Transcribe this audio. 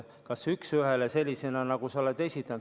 Kas üks ühele sellisena, nagu sa oled esitanud?